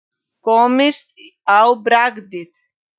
Komist á bragðið